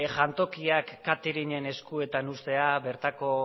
jantokiak cateringen eskuetan uztea bertako